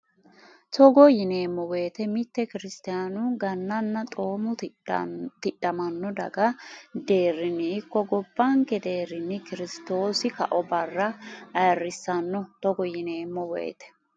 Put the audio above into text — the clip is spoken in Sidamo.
Togo yineemmo woyte mitte kiristaanu Gannanna xoomu tidhamanno daga deerrinni ikko gobbanke deerrinni Kirsitoosi kao barra ayirrisanno Togo yineemmo woyte.